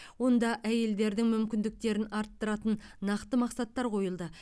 онда әйелдердің мүмкіндіктерін арттыратын нақты мақсаттар қойылды